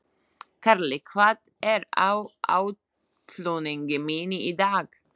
Karli, hvað er á áætluninni minni í dag?